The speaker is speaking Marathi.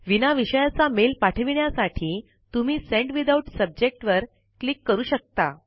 विना विषयाचा मेल पाठविण्यासाठी तुम्ही सेंड विथआउट सब्जेक्ट वर क्लिक करू शकता